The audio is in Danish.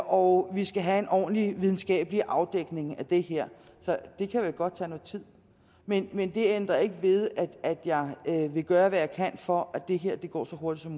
og vi skal have en ordentlig videnskabelig afdækning af det her så det kan jo godt tage noget tid men men det ændrer ikke ved at jeg vil gøre hvad jeg kan for at det her går så hurtigt